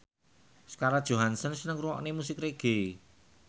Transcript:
Scarlett Johansson seneng ngrungokne musik reggae